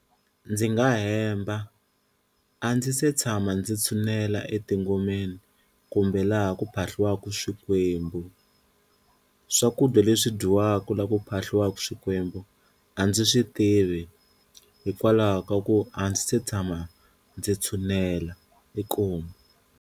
Ndzi nga hemba a ndzi se tshama ndzi tshunela etingomeni kumbe laha ku phahliwaku swikwembu, swakudya leswi dyiwaka laha ku phahliwaka swikwembu a ndzi swi tivi hikwalaho ka ku a ndzi se tshama ndzi tshunela inkomu.